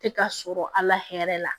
Tɛ ka sɔrɔ a la hɛrɛ la